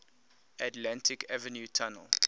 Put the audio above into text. atlantic avenue tunnel